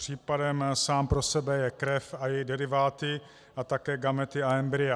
Případem sám pro sebe je krev a její deriváty a také gamety a embrya.